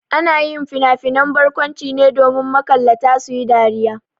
Ana yin finafinan barkwanci ne domin makallata su yi dariya.